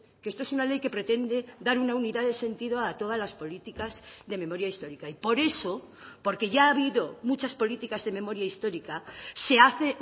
que esto es una ley que pretende dar una unidad de sentido a todas las políticas de memoria histórica y por eso porque ya ha habido muchas políticas de memoria histórica se hace